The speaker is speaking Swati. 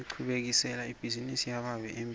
ngichubekisela ibhizinisi yababe embili